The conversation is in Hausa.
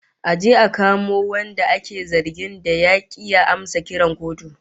A je a kamo wanda ake zargin da ya ki ya amsa kiran kotu